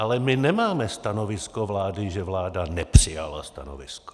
Ale my nemáme stanovisko vlády, že vláda nepřijala stanovisko.